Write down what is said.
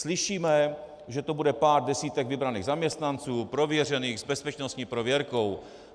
Slyšíme, že to bude pár desítek vybraných zaměstnanců, prověřených, s bezpečnostní prověrkou.